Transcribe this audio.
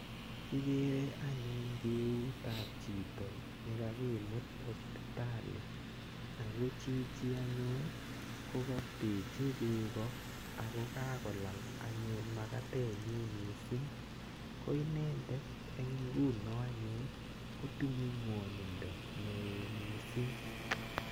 Kikere anyun keut ap chito nekakimit hospitali ako chichi anyun kokapechi beko ako kakolal anyun makatet nyi mising ko inendet eng nguno anyun kotinyei ngwonindo neo mising.